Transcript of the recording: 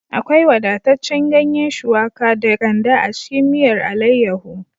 Akwai wadataccen ganye shuwaka da ganda a cikin miyar alaiyahu